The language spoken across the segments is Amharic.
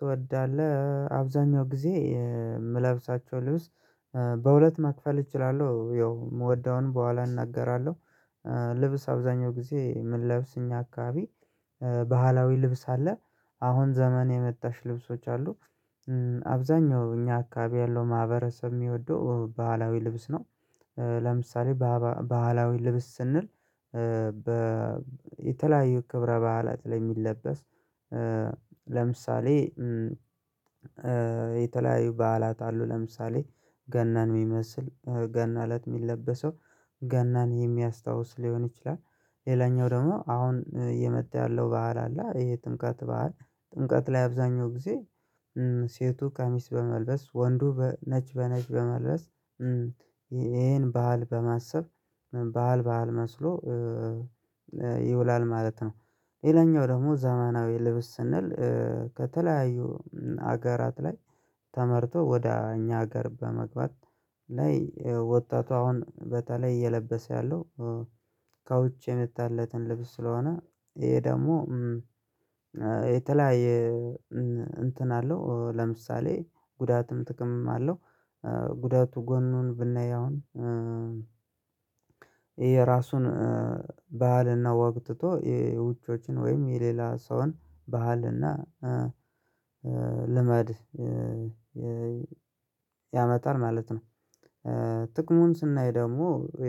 ትወዳለህ አብዛኛው ጊዜ ምለብሳቸው ልብስ በሁለት መክፈል እችላለሁ ያው ማዎደውን በኋላ እናገራለሁ። ልብስ አብዛኛው ጊዜ የምንለብስ እኛ አካባቢ ባህላዊ ልብስ አለ አሁን ዘመን የመጣሽ ልብሶች አሉ። አብዛኛው እኛ አካባቢ ያለው ማህበረሰብ የሚወደው ባህላዊ ልብስ ነው። ለምሳሌ ባህላዊ ልብስ ስንል በ የተለያዩ ክብረ በዓላት ላይ የሚለበስ። ለምሳሌ የተለያዩ በዓላት አሉ ለምሳሌ ገናን የሚመስል ገና እለት የሚለበሰው። ገናን የሚያስታውስ ሊሆን ይችላል። ሌላኛው ደግሞ አሁን የመጣ ያለው በሀል አለ ይሄ ጥምቀት በዓል ጥምቀት ላይ አብዛኛው ጊዜ። ሴቱ ቀሚስ በመልበስ ወንዱ ነጭ በነጭ በመልበስ። ይሄን ባህል በማሰብ ባህል ባህል መስሎ ይውላል ማለት ነው። ሌላኛው ደግሞ ዘመናዊ ልብስ ስንል ከተለያዩ ሀገራት ላይ ተመርቶ ወደ እኛ ሀገር በመግባት ላይ ወጣቱ አሁን በተለይ እየለበሰ ያለው። ከውጭ የመጣለትን ልብስ ስለሆነ ይሄ ደግሞ የተለያየ እንትን አለው ለምሳሌ ጉዳትም ጥቅምም አለው። ጉዳቱ ጎኑን ብናይ አሁን የራሱን በሃልና ወግ ትቶ የውጮችን ወይም የሌላ ሰውን ባህልና ልመድ ያመጣል ማለት ነው። ጥቅሙን ስናይ ደግሞ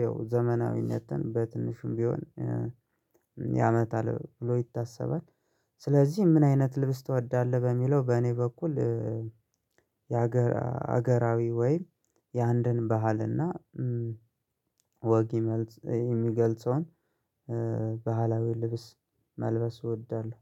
ያው ዘመናዊነትን በትንሽም ቢሆን ያመጣል ብሎ ይታሰባል። ስለዚህ ምን አይነት ልብስ ትወዳለህ? በሚለው በእኔ በኩል የሀገር ሀገራዊ ወይም የአንድን ባህልና ወግ የሚገልጸውን ባህላዊ ልብስ መልበስ እወዳለሁ።